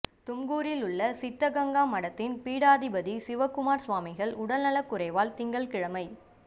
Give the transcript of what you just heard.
தும்கூரில் உள்ள சித்தகங்கா மடத்தின் பீடாதிபதி சிவக்குமார சுவாமிகள் உடல்நலக் குறைவால் திங்கள்கிழமை